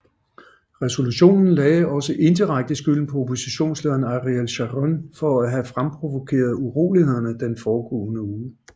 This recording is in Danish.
Resolutionen lagde også indirekte skylden på oppositionslederen Ariel Sharon for at have fremprovokeret urolighederne den foregående uge